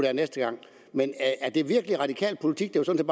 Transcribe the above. er næste gang men er det virkelig radikal politik det var sådan